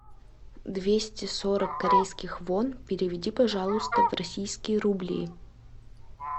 двести сорок корейских вон переведи пожалуйста в российские рубли